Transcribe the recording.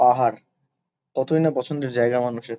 পাহাড়। কতই না পছন্দের জায়গা মানুষের।